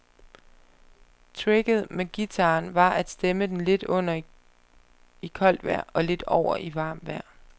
Tricket med guitaren var at stemme den lidt under i koldt vejr, og lidt over i varmt vejr.